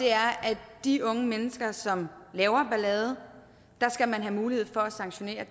er at de unge mennesker som laver ballade skal man have mulighed for at sanktionere